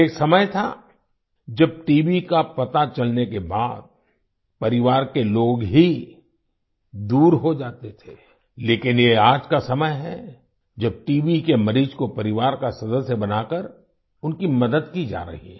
एक समय था जब टीबी का पता चलने के बाद परिवार के लोग ही दूर हो जाते थे लेकिन ये आज का समय है जब टीबी के मरीज को परिवार का सदस्य बनाकर उनकी मदद की जा रही है